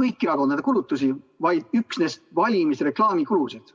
kõiki erakondade kulutusi, vaid üksnes valimisreklaami kulusid.